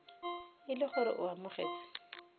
e le gore o amogetse